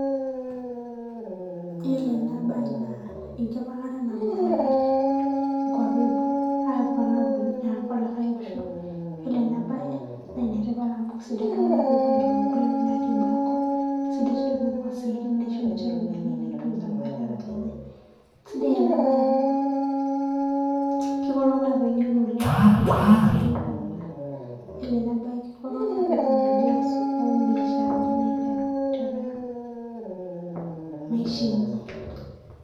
Yielo ena bae naa Engipang'ata naapuo iltung'anak enkuapi eboo aipang' aapuo olikae Osho, yielo ena bae naa enetipat amu keisho iltung'anak peepuo ayiolou engulie baa Enkop, nepuo sii Enkae kop naisho ninche iropiyiani otoomareta lenye, kesidai ena baye amu Keiko iltung'anak pee eng'enu oleng' neisaidia sii duo iltung'anak. Yielo ena bae keisho iltung'anak peetum ideas ibiasharani naiteru tiatua Maisha enye.